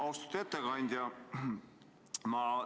Austatud ettekandja!